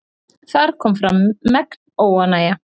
Þar kom fram megn óánægja.